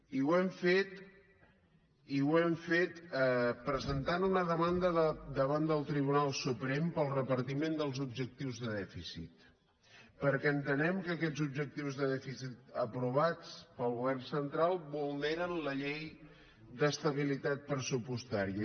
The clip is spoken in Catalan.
i ho hem fet presentant una demanda davant del tribunal suprem pel repartiment dels objectius de dèficit perquè entenem que aquests objectius de dèficit aprovats pel govern central vulneren la llei d’estabilitat pressupostària